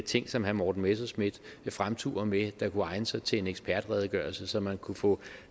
ting som herre morten messerschmidt fremturer med der kunne egne sig til en ekspertredegørelse så man kunne få